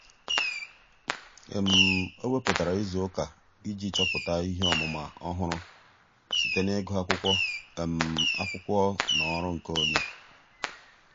ọ́ um wèpụ̀tárà ìzù ụ́kà um iji chọ́pụ́tá ihe ọ́mụ́ma ọ́hụ́rụ́ site n’ị́gụ́ ákwụ́kwọ́ um ákwụ́kwọ́ um na ọ́rụ́ nkeonwe.